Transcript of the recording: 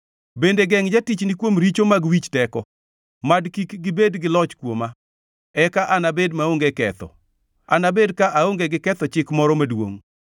Bende gengʼ jatichni kuom richo mag wich teko; mad kik gibed gi loch kuoma. Eka anabed maonge ketho, anabed ka aonge gi ketho chik moro maduongʼ.